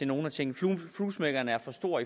nogle af tingene fluesmækkeren er for stor